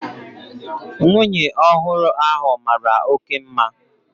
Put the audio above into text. Nwunye ọhụrụ ahu mara oké mma